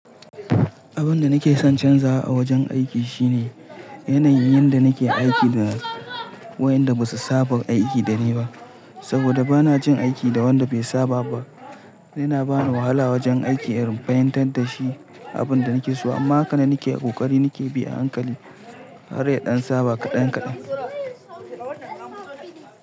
Abin da nake son canzawa a wajen aiki shine yanayin da nake aiki da wayanda ba su saba aiki da ni ba, saboda ba na jin aiki da wanda bai saba ba. Yana bani wahala wajen aiki in fahimtar da shi abin da nake so. Amma hakanan nake kokari nake bi a hankali har ya ɗan saba kaɗan kaɗan.